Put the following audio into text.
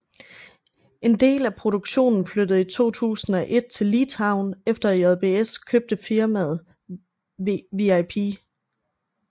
En del af produktionen flyttede i 2001 til Litauen efter at JBS købte firmaet VIP